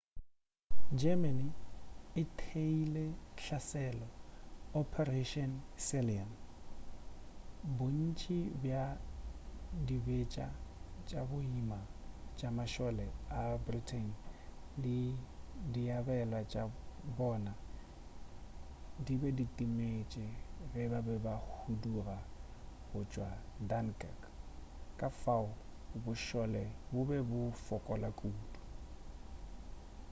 germany e theeile hlaselo operation sealion bontši bja dibetša tša boima tša mašole a britain le diabelwa tša bona di be di timetše ge ba be ba huduga go tšwa dunkirk ka fao bošole bo be bo fokola kudu